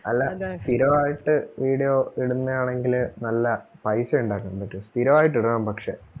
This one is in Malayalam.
അല്ല സ്ഥിരം ആയിട്ട് video ഇടുന്ന ആണെങ്കില് നല്ല പൈസ ഒണ്ടാക്കാൻ പറ്റും. സ്ഥിരം ആയിട്ട് ഇടണം പക്ഷേ.